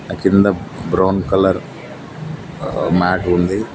కింద brown colour ఆ mat ఉంది.